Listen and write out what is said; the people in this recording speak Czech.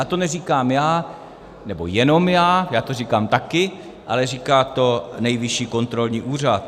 A to neříkám já, nebo jenom já, já to říkám taky, ale říká to Nejvyšší kontrolní úřad.